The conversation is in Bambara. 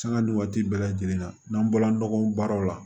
Sanga ni waati bɛɛ lajɛlen na n'an bɔla nɔgɔ baaraw la